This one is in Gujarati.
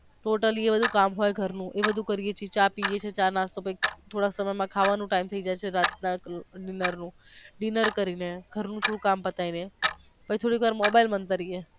totaly કામ હોઈ ઘર નુ હોઈ એ બધું કરીયે છીએ ચા પિયે છીએ ચા નાસ્તો કરી પછી થોડાક સમય માં ખાવાનો નો ટાયમ થઈ જય છે રાત ના dinner નો dinner કરી ને ઘર નું થોડુંક કામ પતાવી લએ પછી થોડીક વાર mobile મંતરીયે.